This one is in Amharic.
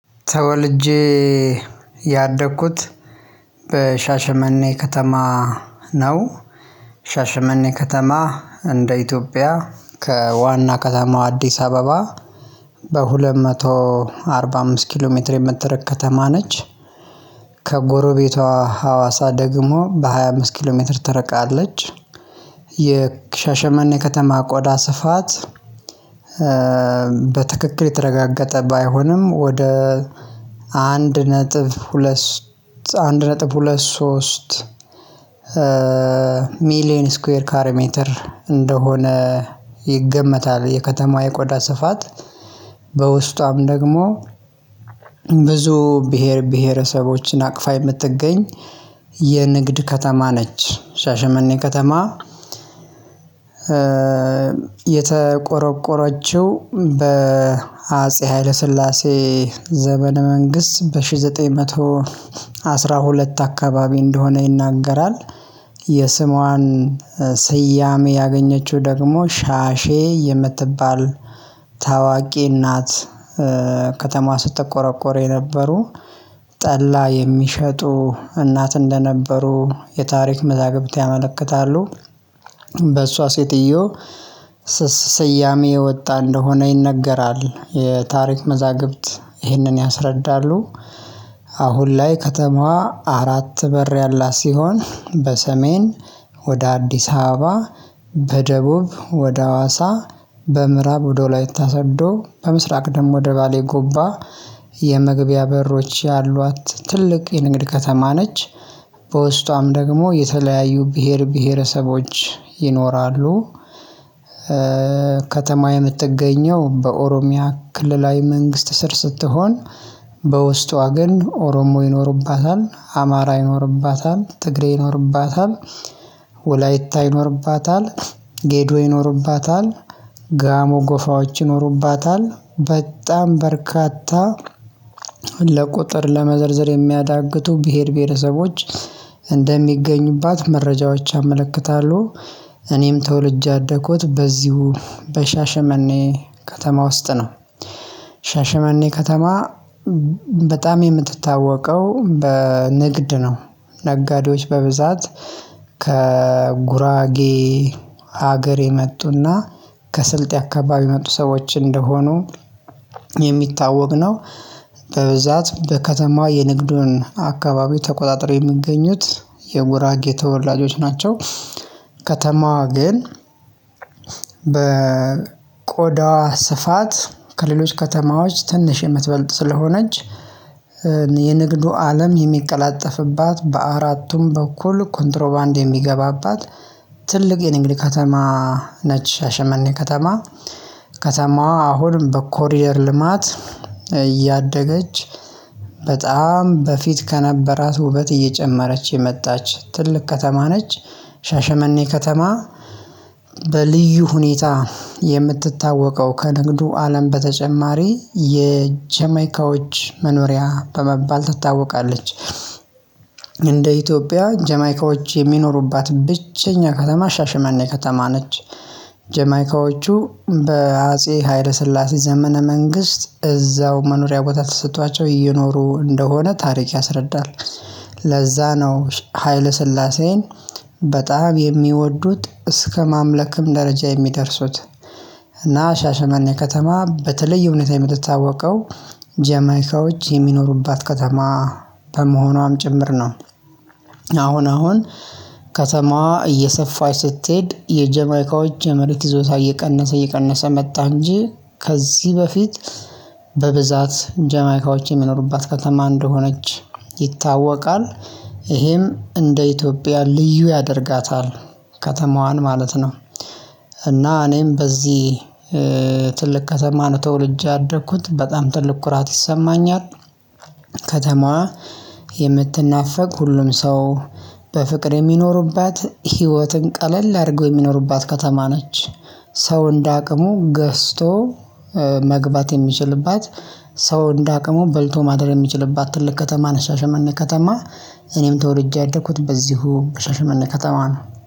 ተወልጄ ያደግኩት በሻሸመኔ ከተማ ነው ሻሸመኔ ከተማ እንደ ኢትዮጵያ ከዋና ከተማው አዲስ አበባ በሁለት መቶ አርባ አምስት ኪሎ ሜትር የምትርቅ ከተማ ነች። ከጎረቤቷ ሀዋሳ ደግሞ በሃያ አምስት ኪሎ ሜትር ትርቃለች። የሻሸመኔ ከተማ ቆዳ ስፋት በትክክል የተረጋገጠ ባይሆንም ወደ አንድ ነጥብ ሁለት አንድ ነጥብ ሁለት ሶስት ሚሊየን ስኩዌር ካሬሜትር እንደሆነ ይገመታል። የከተማ የቆዳ ስፋት በውስጧም ደግሞ ብዙ ብሄር ብሄረሰቦችን አቅፋ የምትገኝ የንግድ ከተማ ነች ሻሸመኔ ከተማ። የተቆረቆረችው በአጼ ሀይለ ስላሴ ዘመነ መንግስት በአንድ ሺህ ዘጠኝ መቶ አስራ ሁለት አካባቢ እንደሆነ ይናገራል። የስሟን ስያሜ ያገኘችው ደግሞ ሻሼ የምትባል ታዋቂ እናት ከተማ ስትቆረቆር የነበሩ ጠላ የሚሸጡ እናት እንደነበሩ የታሪክ መዛግብት ያመለክታሉ። በእሷ ሴትዮ ስስ ስያሜ የወጣ እንደሆነ ይነገራል የታሪክ መዛግብት ይህንን ያስረዳሉ። አሁን ላይ ከተማዋ አራት በር ያላት ሲሆን በሰሜን ወደ አዲስ አበባ በደቡብ ወደ ሀዋሳ በምዕራብ ወደ ወላይታ ሰዶ በምስራቅ ደግሞ ወደ ባሌ ጎባ የመግቢያ በሮች ያሏት ትልቅ የንግድ ከተማ ነች። በውስጧም ደግሞ የተለያዩ ብሄር ብሄረሰቦች ይኖራሉ። ከተማ የምትገኘው በኦሮሚያ ክልላዊ መንግስት ስር ስትሆን በውስጧ ግን ኦሮሞ ይኖርባታል አማራ ይኖርባታል ትግሬ ይኖርባታል። ወላይታ ይኖርባታል ጌዶ ይኖርባታል ጋሞ ጎፋዎች ይኖሩባታል በጣም በርካታ ለቁጥር ለመዘርዘር የሚያዳግቱ ብሄር ብሄረሰቦች እንደሚገኙባት መረጃዎች ያመለክታሉ። እኔም ተወልጄ ያደኩት በዚሁ በሻሸመኔ ከተማ ውስጥ ነው። ሻሸመኔ ከተማ በጣም የምትታወቀው በንግድ ነው። ነጋዴዎች በብዛት ከጉራጌ ሀገር የመጡና ከስልጤ አካባቢ የመጡ ሰዎች እንደሆኑ የሚታወቅ ነው። በብዛት በከተማ የንግዱን አካባቢ ተቆጣጥሮ የሚገኙት የጉራጌ ተወላጆች ናቸው። ከተማዋ ግን በቆዳዋ ስፋት ከሌሎች ከተማዎች ትንሽ የምትበልጥ ስለሆነች የንግዱ አለም የሚቀላጠፍባት በአራቱም በኩል ኮንትሮባንድ የሚገባባት ትልቅ የንግድ ከተማ። ነች ሻሸመኔ ከተማ ከተማዋ አሁንም በኮሪደር ልማት እያደገች በጣም በፊት ከነበራት ውበት እየጨመረች የመጣች ትልቅ ከተማ ነች። ሻሸመኔ ከተማ በልዩ ሁኔታ የምትታወቀው ከንግዱ አለም በተጨማሪ የጀማይካዎች መኖሪያ በመባል ትታወቃለች። እንደ ኢትዮጵያ ጀማይካዎች የሚኖሩባት ብቸኛ ከተማ ሻሽመኔ ከተማ ነች። ጀማይካዎቹ በአጼ ሀይለ ስላሴ ዘመነ መንግስት እዛው መኖሪያ ቦታ ተሰጥቷቸው እየኖሩ እንደሆነ ታሪክ ያስረዳል። ለዛ ነው ሀይለ ስላሴን በጣም የሚወዱት እስከማምለክም ደረጃ የሚደርሱት። እና ሻሸመኔ ከተማ በተለየ ሁኔታ የምትታወቀው ጀማይካዎች የሚኖሩባት ከተማ በመሆኗም ጭምር ነው። አሁን አሁን ከተማዋ እየሰፋች ስትሄድ የጀማይካዎች የመሬት ይዞታ እየቀነሰ እየቀነሰ መጣ እንጂ ከዚህ በፊት በብዛት ጀማይካዎች የሚኖሩባት ከተማ እንደሆነች ይታወቃል። ይሄም እንደ ኢትዮጵያ ልዩ ያደርጋታል ከተማዋን ማለት ነው። እና እኔም በዚህ ትልቅ ከተማ ነው ተወልጄ ያደኩት በጣም ትልቅ ኩራት ይሰማኛል። ከተማዋ የምትናፈቅ ሁሉም ሰው በፍቅር የሚኖሩባት ህይወትን ቀለል አድርገው የሚኖሩባት ከተማ ነች። ሰው እንደ አቅሙ ገዝቶ መግባት የሚችልባት ሰው እንደ አቅሙ በልቶ ማደር የሚችልባት ትልቅ ከተማ ነች። ሻሸመኔ ከተማ እኔም ተወልጄ ያደኩት በዚሁ ከሻሽመኔ ከተማ ነው